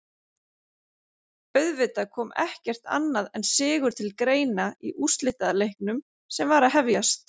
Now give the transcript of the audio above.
Auðvitað kom ekkert annað en sigur til greina í úrslitaleiknum sem var að hefjast.